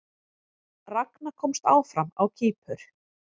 Ragna komst áfram á Kýpur